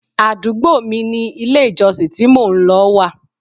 Àdúgbò mi ni ilé ìjọsìn tí mò ń lọ wà.